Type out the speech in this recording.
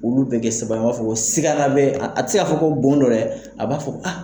Olu bɛ kɛ saba an b'a fɔ ko sigana bɛ a te se k'a fɔ ko bon dɔ dɛ, a b'a fɔ a.